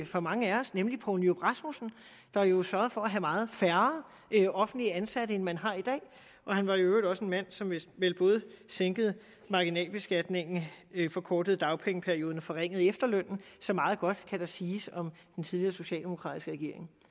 for mange af os nemlig poul nyrup rasmussen der jo sørgede for at have meget færre offentligt ansatte end man har i dag han var i øvrigt også en mand som vel både sænkede marginalbeskatningen forkortede dagpengeperioden og forringede efterlønnen så meget godt kan der siges om den tidligere socialdemokratiske regering